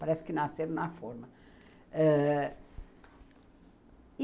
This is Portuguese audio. Parece que nasceram na forma. Ãh